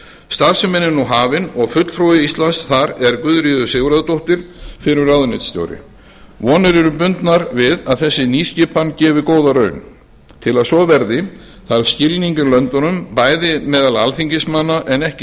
starfsemin er nú hafin og fulltrúi íslands þar er guðríður sigurðardóttir fyrrverandi ráðuneytisstjóri vonir eru bundnar við að þessi nýskipan gefi góða raun til að svo verði þarf skilning í löndunum bæði meðal alþingismanna en ekki